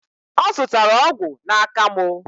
Ọ zụtara ọgwụ n'aka mụ.